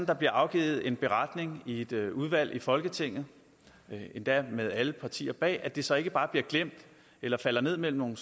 der bliver afgivet en beretning i et udvalg i folketinget endda med alle partier bag at det så ikke bare bliver glemt eller falder ned mellem